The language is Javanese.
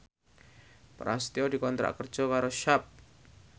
Prasetyo dikontrak kerja karo Sharp